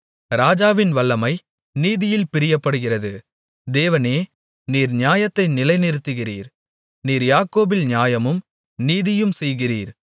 ராஜாவின் வல்லமை நீதியில் பிரியப்படுகிறது தேவனே நீர் நியாயத்தை நிலைநிறுத்துகிறீர் நீர் யாக்கோபில் நியாயமும் நீதியும் செய்கிறீர்